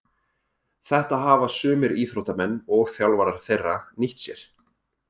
Þetta hafa sumir íþróttamenn og þjálfarar þeirra nýtt sér.